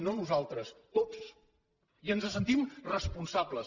no nosaltres tots i ens en sentim responsables